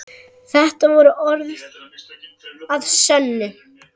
Þetta voru orð að sönnu.